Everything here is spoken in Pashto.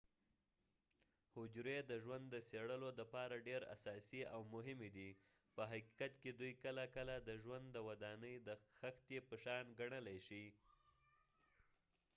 حجری د ژوند د څیړلو دپاره ډیر اساسی او مهمی دي په حقیقت کې دوي کله کله د ژوند د ودانی د خښتی په شان ګڼلی شي